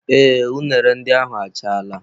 Ee unere ndị ahụ achaala.